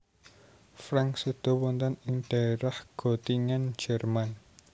Franck séda wonten ing daerah Gottingen Jerman